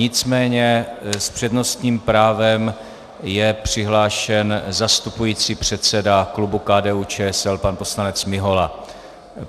Nicméně s přednostním právem je přihlášen zastupující předseda klubu KDU- ČSL pan poslanec Mihola.